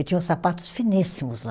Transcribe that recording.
E tinham sapatos finíssimos lá.